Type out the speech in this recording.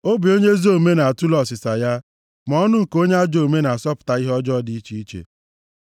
Obi onye ezi omume na-atule ọsịsa ya ma ọnụ nke onye ajọ omume na-asọpụta ihe ọjọọ dị iche iche.